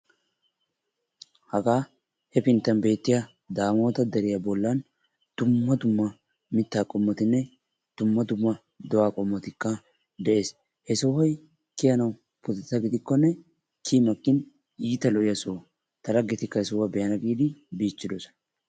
Hagaa hefinttaan beettiyaa daamota deriyaa bollaan dumma dumma mittaa qomotinne dumma dumma do'aa qomotikka de'ees. he soohoy kiyanawu pudetta gidikkone kiyi makin iita lo"iyaa soho. ta laggetikka he sohuwaa be'ana giidi biichchidosona.